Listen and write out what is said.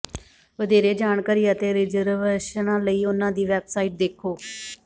ਵਧੇਰੇ ਜਾਣਕਾਰੀ ਅਤੇ ਰਿਜ਼ਰਵੇਸ਼ਨਾਂ ਲਈ ਉਹਨਾਂ ਦੀ ਵੈਬਸਾਈਟ ਦੇਖੋ